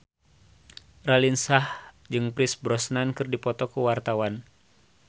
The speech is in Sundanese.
Raline Shah jeung Pierce Brosnan keur dipoto ku wartawan